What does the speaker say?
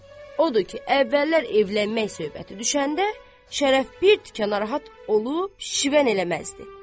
Odur ki, əvvəllər evlənmək söhbəti düşəndə, Şərəf bir tükə narahat olub, şişvən eləməzdi.